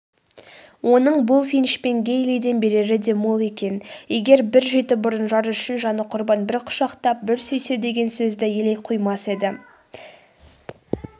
оның булфинч пен гэйлиден берері де мол екен егер бір жеті бұрын жары үшін жаны құрбан бір құшақтап бір сүйссе деген сөзді елей қоймас еді